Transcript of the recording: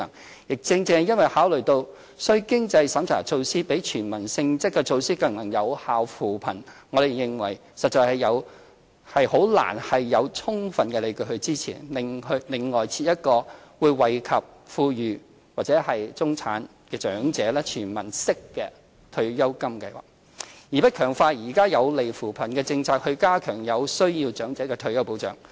此外，正正因為考慮到須經濟審查的措施比"全民"性質的措施更能有效扶貧，我們認為實在難有充分理據支持另行增設一個會惠及富裕或中產長者的"全民式"退休金計劃，而不強化現行有利扶貧的政策，加強對有需要長者的退休保障。